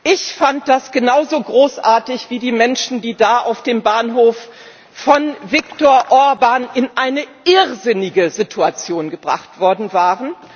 Ich fand das genauso großartig wie die Menschen, die da auf dem Bahnhof von Viktor Orbán in eine irrsinnige Situation gebracht worden waren.